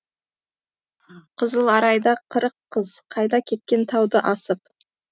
қызыларайда қырық қыз қайда кеткен тауды асып